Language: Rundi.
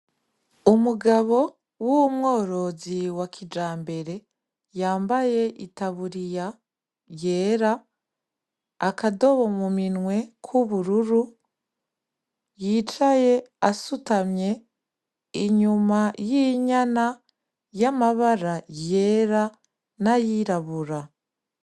Umugabo w'umworozi wa kijambere yambaye itaburiya yera akadobo mu minwe ku bururu yicaye asutamye inyuma y'inyana y'amabara yera n'ayirabura.